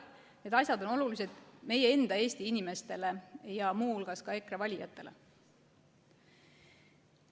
Need asjad on olulised meie enda, Eesti inimestele, ja muu hulgas ka EKRE valijatele.